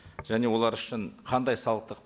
және олар үшін қандай салықтық